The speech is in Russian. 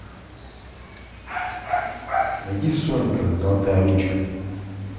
найди сонька золотая ручка